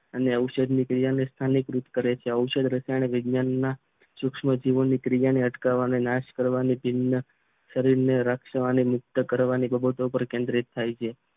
અને ઔષધી ક્રિયા ને સ્થાનિકૃત કરે છે ઔષધી રસાયણ વિજ્ઞાનના સૂક્ષ્મ જીવોની ક્રિયાને અટકાવવાના નાશ કરવાની ટીમના શરીરને રાખવાની મુક્ત કરવાની બાબતો પર કેન્દ્રિત થાય છે